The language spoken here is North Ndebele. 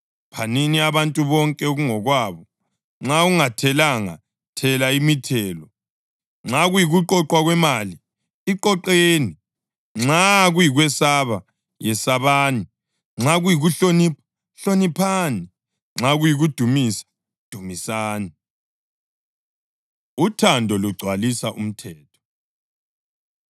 Phanini abantu bonke okungokwabo: Nxa ungathelanga, thela imithelo, nxa kuyikuqoqwa kwemali, iqoqeni. Nxa kuyikwesaba, yesabani. Nxa kuyikuhlonipha, hloniphani; nxa kuyikudumisa, dumisani. Uthando Lugcwalisa Umthetho